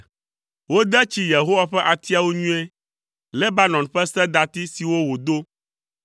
Wode tsi Yehowa ƒe atiawo nyuie, Lebanon ƒe sedati siwo wòdo.